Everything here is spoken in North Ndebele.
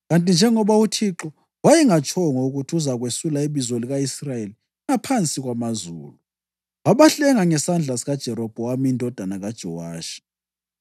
Kanti njengoba uThixo wayengatshongo ukuthi uzakwesula ibizo lika-Israyeli ngaphansi kwamazulu, wabahlenga ngesandla sikaJerobhowamu indodana kaJowashi.